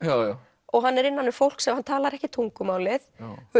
og og hann er innan um fólk og hann talar ekki tungumálið